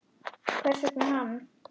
Hvers vegna hann?